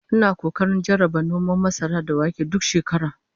Ina kokarin jarraba noman masara da wake duk shekara